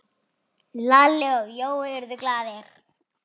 Lalli og Jói urðu glaðir.